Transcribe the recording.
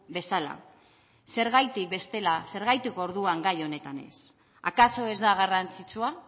bezala zergatik bestela zergatik orduan gai honetan ez akaso ez da garrantzitsua